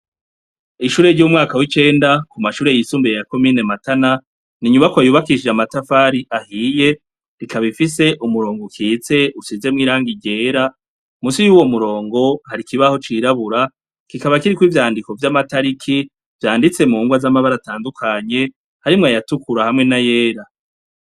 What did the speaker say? Ishure ryumwaka wicenda kumashure yisumbuye ya comine matana ninyubakwa yubakishijwe amatafari ahiye ikaba ifise umurongo ukitse usize irangi ryera munsi yuwo murongo hari ikibaho cirabura kikaba kiriko ivyandiko vyamatariki vyanditse munrwa zamabara atandukanye harimwo ayatukura nayera